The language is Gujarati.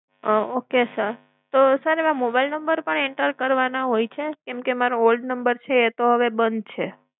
okay sir તો, તો sir એમાં mobile number પણ enter કરવાના હોય છે? કેમ કે, મારા old number છે તો હવે બંધ છે